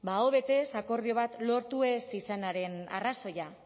ba aho batez akordio bat lortu ez izanaren arrazoia